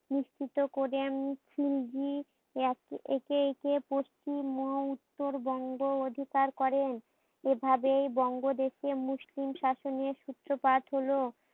নিশ্চিত করে খিলজি একে একে পশ্চিম মহা উত্তরবঙ্গ অধিকার করেন। এইভাবে বঙ্গ দেশে মুসলিম শাসনের সূত্রপাত হলো